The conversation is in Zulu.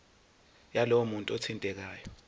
yalowo muntu othintekayo